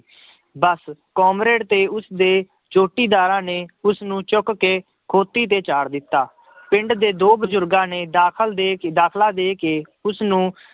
ਬਸ comrade ਤੇ ਉਸਦੇ ਜੋਟੀਦਾਰਾਂ ਨੇ ਉਸਨੂੰ ਚੁੱਕ ਕੇ ਖੋਤੀ ਤੇ ਚਾੜ੍ਹ ਦਿੱਤਾ ਪਿੰਡ ਦੇ ਦੋ ਬਜ਼ੁਰਗਾਂ ਨੇ ਦਾਖਲ ਦੇ ਕੇ, ਦਾਖਲਾ ਦੇ ਕੇ ਉਸਨੂੰ